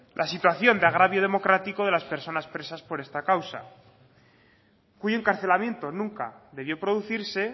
la situación de agravio democrático de las personas presas por esta causa cuyo encarcelamiento nunca debió producirse